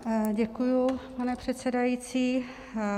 Děkuji, pane předsedající.